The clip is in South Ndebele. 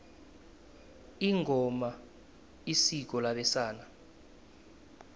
ingoma isiko labesana